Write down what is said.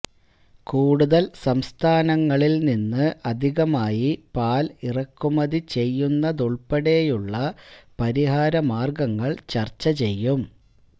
കൂടുതല് സംസ്ഥാനങ്ങളില് നിന്ന് അധികമായി പാല് ഇറക്കുമതി ചെയ്യുന്നതുള്പ്പെടെയുള്ള പരിഹാരമാര്ഗങ്ങള് ചര്ച്ച ചെയ്യും